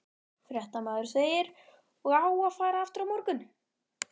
Fréttamaður: Og á að fara aftur á morgun?